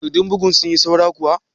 Takarɗun bugun sun yi saura kuwa?